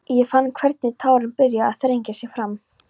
Ég fann hvernig tárin byrjuðu að þrengja sér fram.